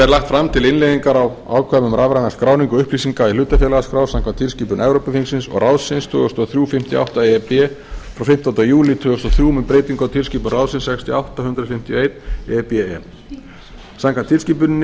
lagt fram til innleiðingar á ákvæðum um rafræna skráningu upplýsinga í hlutafélagaskrá samkvæmt tilskipun evrópuþingsins og ráðsins tvö þúsund og þrjú fimmtíu og átta e b frá fimmtándu júlí tvö þúsund og þrjú um breytingu á tilskipun ráðsins sextíu og átta hundrað fimmtíu og eitt e b e samkvæmt tilskipuninni